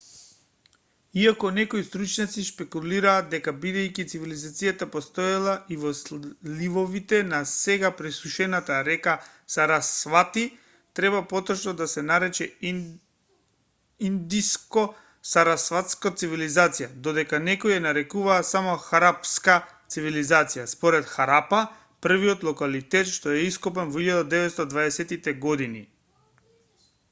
иако некои стручњаци шпекулираат дека бидејќи цивилизацијата постоела и во сливовите на сега пресушената река сарасвати треба поточно да се нарече индско-сарасватска цивилизација додека некои ја нарекуваат само харапска цивилизација според харапа првиот локалитет што е ископан во 1920тите години